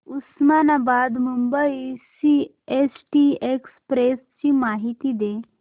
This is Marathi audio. उस्मानाबाद मुंबई सीएसटी एक्सप्रेस ची माहिती दे